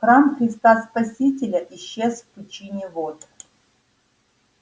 храм христа спасителя исчез в пучине вод